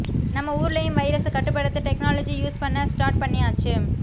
நம்ம ஊர்லயும் வைரச கட்டுப்படுத்த டெக்னாலஜி யூஸ் பன்ன ஸ்டார்ட் பன்னியாச்சு